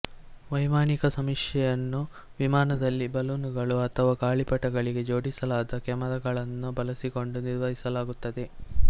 ವೈಮಾನಿಕ ಸಮೀಕ್ಷೆಯನ್ನು ವಿಮಾನಗಳು ಬಲೂನುಗಳು ಅಥವಾ ಗಾಳಿಪಟಗಳಿಗೆ ಜೋಡಿಸಲಾದ ಕ್ಯಾಮೆರಾಗಳನ್ನು ಬಳಸಿಕೊಂಡು ನಿರ್ವಹಿಸಲಾಗುತ್ತದೆ